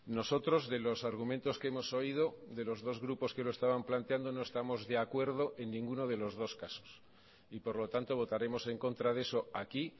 nosotros de los argumentos que hemos oído de los dos grupos que lo estaban planteando no estamos de acuerdo en ninguno de los dos casos y por lo tanto votaremos en contra de eso aquí